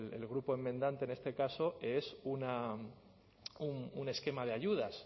el grupo enmendante en este caso es un esquema de ayudas